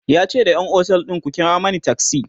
yace da ƴan otel ɗin "ku kira Mani taksi!"